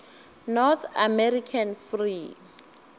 north american free